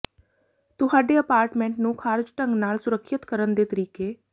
ਤੁਹਾਡੇ ਅਪਾਰਟਮੈਂਟ ਨੂੰ ਖਾਰਜ ਢੰਗ ਨਾਲ ਸੁਰੱਖਿਅਤ ਕਰਨ ਦੇ ਤਰੀਕੇ